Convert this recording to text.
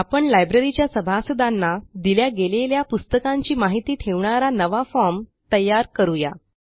आपण लायब्ररीच्या सभासदांना दिल्या गेलेल्या पुस्तकांची माहिती ठेवणारा नवा फॉर्म तयार करू या